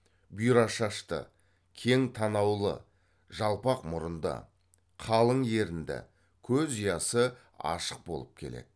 бұйра шашты кең танаулы жалпақ мұрынды қалың ерінді көз ұясы ашық болып келеді